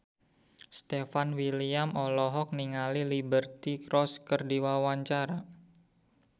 Stefan William olohok ningali Liberty Ross keur diwawancara